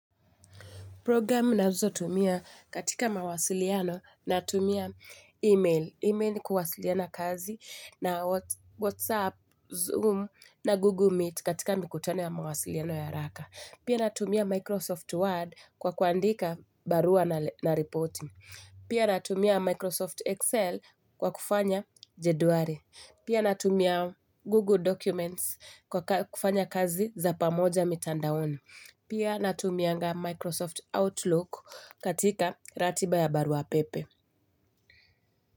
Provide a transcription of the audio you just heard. Programu nazotumia katika mawasiliano natumia email. Email kuwasiliana kazi na Whatsapp, Zoom na Google Meet katika mikutano ya mawasiliano ya haraka. Pia natumia Microsoft Word kwa kuandika barua na reporting. Pia natumia Microsoft Excel kwa kufanya jeduari. Pia natumia Google Documents kwa kufanya kazi za pamoja mitandaoni. Pia natumianga Microsoft Outlook katika ratiba ya barua pepe.